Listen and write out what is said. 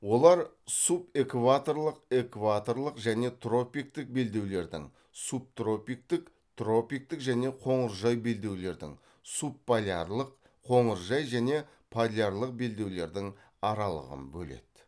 олар субэкваторлық экваторлық және тропиктік белдеулердің субтропиктік тропиктік және қоңыржай белдеулердің субполярлық қоңыржай және полярлық белдеулердің аралығын бөледі